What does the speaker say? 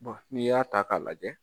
Bon n'i y'a ta k'a lajɛ